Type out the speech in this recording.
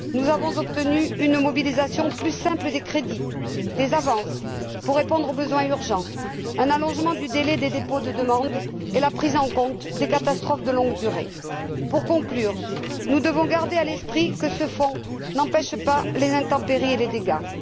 Nous sommes parvenus à un mécanisme de mobilisation plus simple des crédits, à des avances pour répondre aux besoins urgents, à un allongement du délai de dépôt des demandes et à une prise en compte des catastrophes de longue durée. Pour conclure, nous devons garder à l'esprit que ce fonds ne permet pas d'éviter les intempéries et les dégâts.